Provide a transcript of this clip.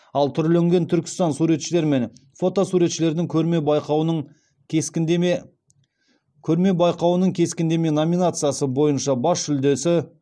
ал түрленген түркістан суретшілер мен фото суретшілердің көрме байқауының кескіндеме көрме байқауының кескіндеме номинациясы бойынша бас жүлдесі